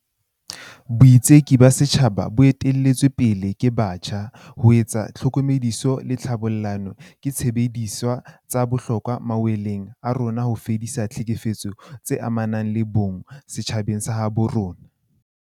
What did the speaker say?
Boitseki ba setjhaba bo ete-lletsweng pele ke batjha, ho etsa tlhokomediso le tlhabollano, ke disebediswa tsa bohlokwa mawaleng a rona a ho fedisa ditlhekefetso tse amanang le bong, GBV, setjhabeng sa habo rona.